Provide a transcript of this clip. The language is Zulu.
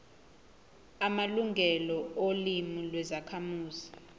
amalungelo olimi lwezakhamuzi